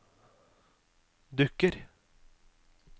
dukker